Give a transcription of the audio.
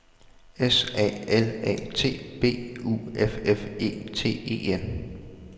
S A L A T B U F F E T E N